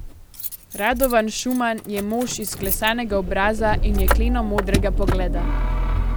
Radovan Šuman je mož izklesanega obraza in jekleno modrega pogleda.